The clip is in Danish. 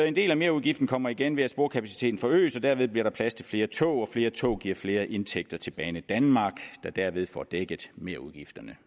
en del af merudgiften kommer igen ved at sporkapaciteten forøges og derved bliver der plads til flere tog flere tog give flere indtægter til banedanmark der derved får dækket merudgifterne